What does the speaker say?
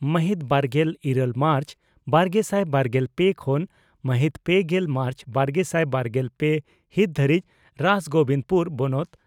ᱢᱟᱦᱤᱛ ᱵᱟᱨᱜᱮᱞ ᱤᱨᱟᱹᱞ ᱢᱟᱨᱪ ᱵᱟᱨᱜᱮᱥᱟᱭ ᱵᱟᱨᱜᱮᱞ ᱯᱮ ᱠᱷᱚᱱ ᱢᱟᱦᱤᱛ ᱯᱮᱜᱮᱞ ᱢᱟᱨᱪ ᱵᱟᱨᱜᱮᱥᱟᱭ ᱵᱟᱨᱜᱮᱞ ᱯᱮ ᱦᱤᱛ ᱫᱷᱟᱹᱨᱤᱡ ᱨᱟᱥᱜᱚᱵᱤᱱᱫᱽᱯᱩᱨ ᱵᱚᱱᱚᱛ